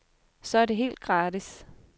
Så er det helt gratis.